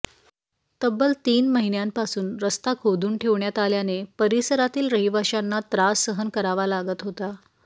तब्बल तीन महिन्यांपासून रस्ता खोदून ठेवण्यात आल्याने परिसरातील रहिवाशांना त्रास सहन करावा लागत होता